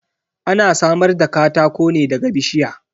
Ana samar da katako ne daga bishiya.